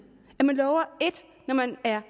er